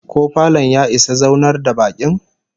Ko falon ya isa zaunar da bakin?